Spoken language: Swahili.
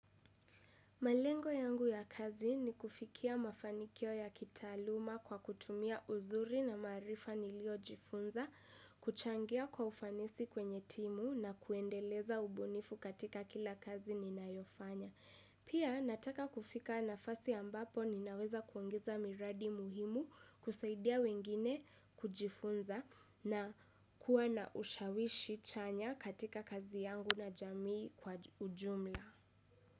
Malengo yangu ya kazi ni kufikia mafanikio ya kitaaluma kwa kutumia uzuri na maarifa niliyojifunza, kuchangia kwa ufanisi kwenye timu na kuendeleza ubunifu katika kila kazi ninayofanya. Pia nataka kufika nafasi ambapo ninaweza kuongeza miradi muhimu kusaidia wengine kujifunza na kuwa na ushawishi chanya katika kazi yangu na jamii kwa ujumla.